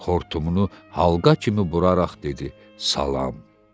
Xortumunu halqa kimi buraraq dedi: Salam.